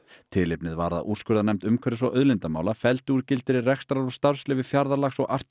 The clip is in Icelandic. tilefnið var að úrskurðarnefnd umhverfis og auðlindamála felldi úr gildi rekstrar og starfsleyfi Fjarðarlax og Arctic